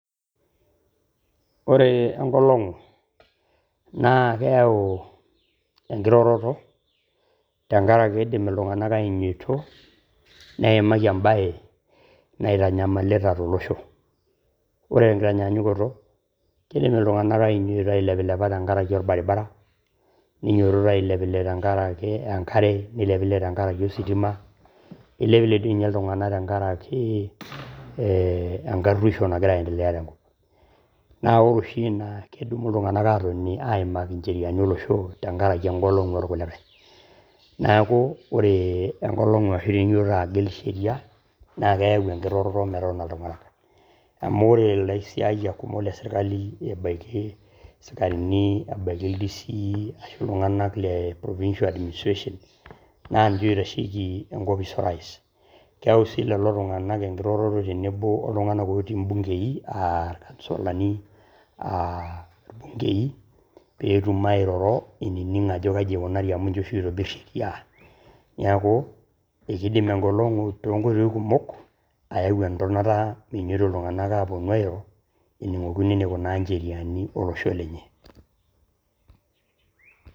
Ore enkolong naa keyau enkiroroto, tenkaraki kidim iltung`nak ainyioito neimaki embae naitanyamalita to losho. Ore te nkitanyaanyukoto kidim iltung`anak ainyioito ailepilepa tenkaraki olbaribara. Ninyiototo ailepilep tenkaraki enkare neilepilep tenkaraki ositima. Eilepilep doi ninye iltung`anak tenkaraki enkaruoisho nagira aendelea te nkop. Naa ore oshi ina naa kedup iltung`anak aatotoni aimaki ncheriani olosho tenkaraki eng`olong`u oo lkulikae. Niaku ore eng`olong`u ashu tenijiototo agil sheria naa keyau enkiroroto metotoni iltung`anak. Amu ore ilaisiayak pookin le sirkali ebaiki sikarini ebaiki D.C ashu provicial administration naa ninche oitasheki enkopis o rais. Keyau sii lelo tung`anak enkiroroto tenebo oltung`anak otii imbungei aa irkansolni aa irbungei pee etum airoro inining ajo kaji eikunari amu ninche oshi oitobirr sheria. Niaku keidim eng`olong`u too ilyung`anak kumok ayau entonata minyoito iltung`anak airo ening`okino enikunaa ncheriani o losho lenye.